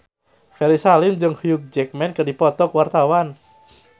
Ferry Salim jeung Hugh Jackman keur dipoto ku wartawan